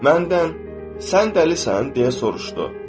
Məndən sən dəlisənmi, deyə soruşdu.